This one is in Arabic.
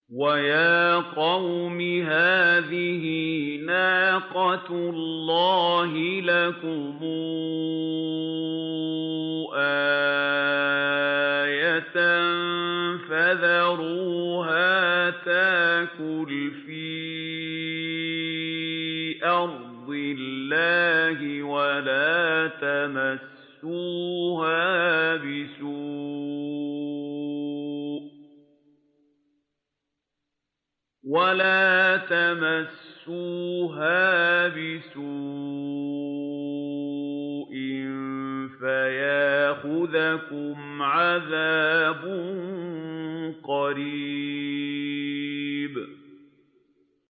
وَيَا قَوْمِ هَٰذِهِ نَاقَةُ اللَّهِ لَكُمْ آيَةً فَذَرُوهَا تَأْكُلْ فِي أَرْضِ اللَّهِ وَلَا تَمَسُّوهَا بِسُوءٍ فَيَأْخُذَكُمْ عَذَابٌ قَرِيبٌ